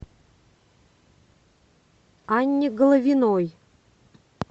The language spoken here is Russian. анне головиной